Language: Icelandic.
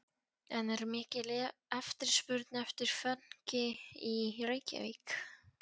En er mikil eftirspurn eftir fönki í Reykjavík?